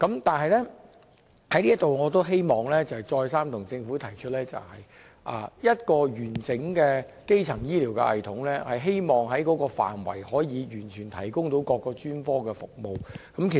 但是，我希望在這裏再三向政府提出，一個完整的基層醫療系統，是能完全提供各種專科服務。